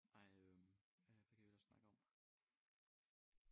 Nej øh hvad hvad kan vi ellers snakke om?